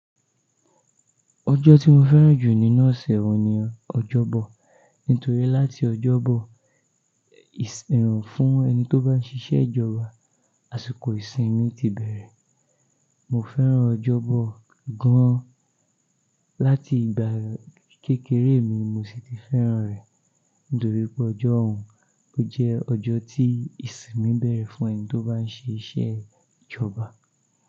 Ọjọ́ tí mo fẹ́ràn jù nínú ọ̀sẹ̀ ohun ní ọjọ́bọ̀. Nítorí láti ọjọ́bọ ìsìn, ìrànwọ́ fún ẹni tí ó bá ń ṣiṣẹ́ ìjọba, àsìkò ìsìn mi ti bẹ̀rẹ̀. Mo fẹ́ràn ọjọ́bọ̀ gan-an. Láti ìgbà kékeré mi mo sì ti fẹ́ràn rẹ̀. Nítorí pé ọjọ́hun jẹ́ ọjọ́ tí ìsìn mi bẹ̀rẹ̀ fún ẹni tí ó bá ń ṣe iṣẹ́ ìjọba.